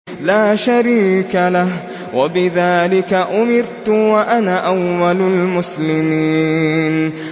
لَا شَرِيكَ لَهُ ۖ وَبِذَٰلِكَ أُمِرْتُ وَأَنَا أَوَّلُ الْمُسْلِمِينَ